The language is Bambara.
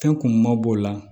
Fɛn kun ma b'o la